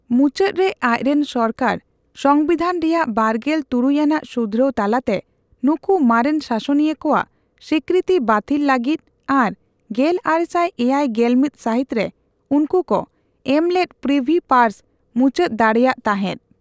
ᱢᱩᱪᱟᱹᱫ ᱨᱮ, ᱟᱡᱨᱮᱱ ᱥᱚᱨᱠᱟᱨ ᱥᱚᱝᱵᱤᱫᱷᱟᱱ ᱨᱮᱭᱟᱜ ᱵᱟᱨᱜᱮᱞ ᱛᱩᱨᱩᱭ ᱟᱱᱟᱜ ᱥᱩᱫᱷᱨᱟᱹᱣ ᱛᱟᱞᱟᱛᱮ ᱱᱩᱠᱩ ᱢᱟᱨᱮᱱ ᱥᱟᱥᱚᱱᱤᱭᱟᱹ ᱠᱚᱣᱟᱜ ᱥᱤᱠᱠᱨᱤᱛᱤ ᱵᱟᱛᱷᱤᱞ ᱞᱟᱹᱜᱤᱫ ᱟᱨ ᱜᱮᱞᱟᱨᱮᱥᱟᱭ ᱮᱭᱟᱭ ᱜᱮᱞᱢᱤᱛ ᱥᱟᱦᱤᱛ ᱨᱮ ᱩᱱᱠᱠᱩᱠᱚ ᱮᱢᱞᱮᱫ ᱯᱨᱤᱵᱷᱤ ᱯᱟᱨᱥ ᱢᱩᱪᱟᱹᱫ ᱫᱟᱲᱮᱹᱭᱟᱜ ᱛᱟᱦᱮᱫ ᱾